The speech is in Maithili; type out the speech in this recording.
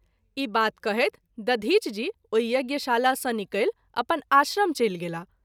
ई बात कहैत दधिच जी ओहि यज्ञ शाला सँ निकलि अपन आश्रम चलि गेलाह।